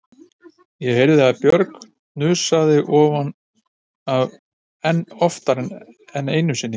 Ég heyrði að Björg hnussaði oftar en einu sinni